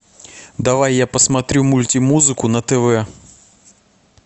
давай я посмотрю мультимузыку на тв